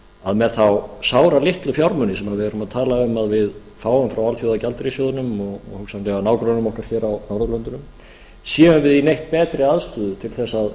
að með þá sáralitlu fjármuni sem við erum að tala um að við fáum frá alþjóðagjaldeyrissjóðnum og hugsanlega nágrönnum okkar hér á norðurlöndunum séum við í neitt betri aðstöðu til þess að